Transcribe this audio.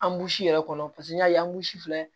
An b'i si yɛrɛ kɔnɔ paseke n'i y'a ye an si filɛ